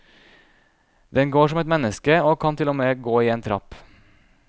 Den går som et menneske, og kan til og med gå i en trapp.